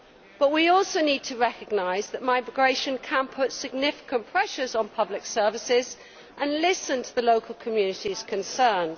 But we also need to recognise that migration can put significant pressures on public services and listen to the local communities' concerns.